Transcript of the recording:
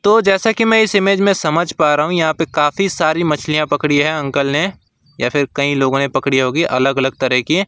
तो जैसा कि मैं इस इमेज में समझ पा रहा हूं यहां पे काफी सारी मछलियां पकड़ी है अंकल ने या फिर कई लोगों ने पड़ी होगी अलग अलग तरह की।